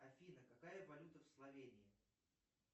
афина какая валюта в словении